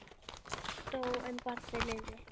Hún dó en barnið lifði.